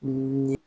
Mun ye